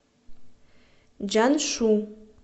чжаншу